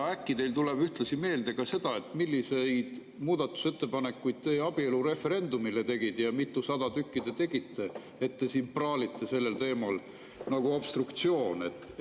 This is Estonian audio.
Ja äkki teil tuleb ühtlasi meelde ka see, milliseid muudatusettepanekuid te abielureferendumile tegite ja mitusada tükki te tegite, kui te siin praalite obstruktsiooni teemal.